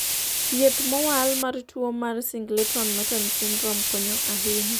thieth mowal mar tuo mar Singleton Merten syndrome konyo ahinya